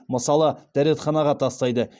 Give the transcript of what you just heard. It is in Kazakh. мысалы дәретханаға тастайды